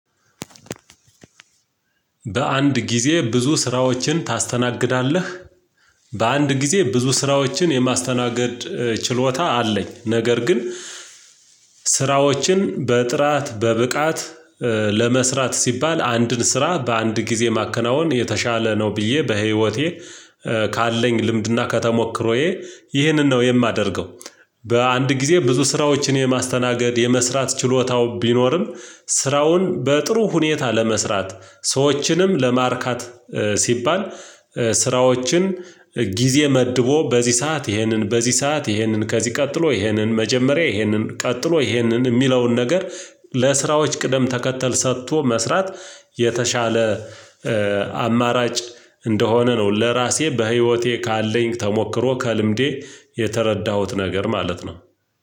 በአንድ ጊዜ ብዙ ስራዎችን ታስተናግዳለህ? በአንድ ጊዜ ብዙ ስራዎችን የማስተናገድ ችሎታ አለኝ ነገር ግን ስራዎችን በጥራት በብቃት ለመስራት ሲባል አንድን ስራ በአንድ ጊዜ ማከናወን የተሻለ ነው ብዬ በህይወቴ ካለኝ ልምድና ከተሞክሮዬ ይህንን ነው የማደርገው። በአንድ ጊዜ ብዙ ስራዎችን የማስተናገድ የመስራት ችሎታው ቢኖርም ስራውን በጥሩ ሁኔታ ለመስራት ሰዎችንም ለማርካት ሲባል ስራዎችን ጊዜ መድቦ በዚህ ሰዓት ይሄንን በዚህ ሰዓት ይሄንን ከዚህ ቀጥሎ ይሄንን መጀመሪያ ይሄንን ቀጥሎ ይሄንን የሚለውን ነገር ለስራዎች ቅደም ተከተል ሰጥቶ መስራት የተሻለ አማራጭ እንደሆነ ነው። ለራሴ በህይወቴ ካለኝ ተሞክሮ ከልምዴ የተረዳሁት ነገር ማለት ነው።